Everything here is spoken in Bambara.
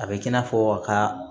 A bɛ kɛ i n'a fɔ a ka